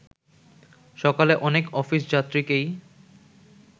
সকালে অনেক অফিসযাত্রীকেই